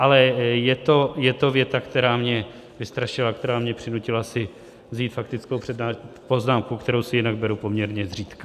Ale je to věta, která mě vystrašila, která mě přinutila si vzít faktickou poznámku, kterou si jinak beru poměrně zřídka.